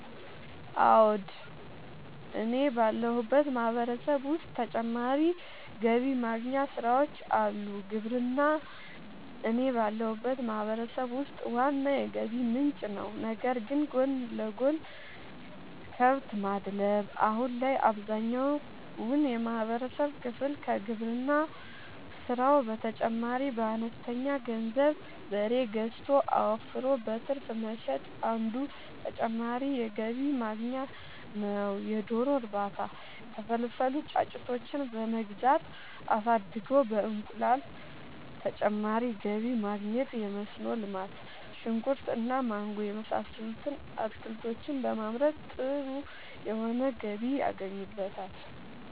አወ እኔ ባለሁበት ማህበረሰብ ዉስጥ ተጨማሪ ገቢ ማግኛ ስራወች አሉ። ግብርና እኔ ባለሁበት ማህበረሰብ ውስጥ ዋና የገቢ ምንጭ ነዉ ነገር ግን ጎን ለጎን :- ከብት ማድለብ :- አሁን ላይ አብዛኛውን የማህበረሰብ ክፍል ከግብርና ስራው በተጨማሪ በአነስተኛ ገንዘብ በሬ ገዝቶ አወፍሮ በትርፍ መሸጥ አንዱ ተጨማሪ የገቢ ማግኛ ነዉ የዶሮ እርባታ:- የተፈለፈሉ ጫጩቶችን በመግዛት አሳድጎ በእንቁላል ተጨማሪ ገቢ ማግኘት የመስኖ ልማት :-ሽንኩርት እና ማንጎ የመሳሰሉት አትክልቶችን በማምረት ጥሩ የሆነ ገቢ ያገኙበታል